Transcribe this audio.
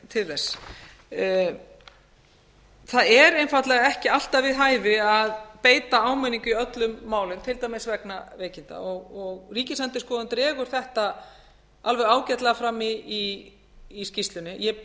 til þess það er einfaldlega ekki alltaf við hæfi að beita áminningu í öllum málum til dæmis vegna veikinda og ríkisendurskoðun dregur þetta alveg ágætlega fram í skýrslunni ég er búin